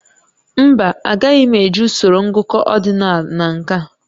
Mba, agaghị m eji usoro ngụkọ ordinal na nke a